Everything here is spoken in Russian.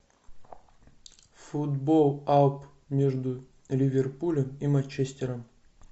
футбол апл между ливерпулем и манчестером